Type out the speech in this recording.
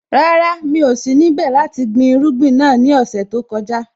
Rárá, mi ò sí níbẹ̀ láti gbin irúgbìn náà ní ọ̀sẹ̀ tó kọjá.